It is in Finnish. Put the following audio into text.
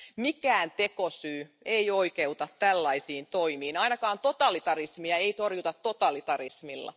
Mikään tekosyy ei oikeuta tällaisiin toimiin, ainakaan totalitarismia ei torjuta totalitarismilla.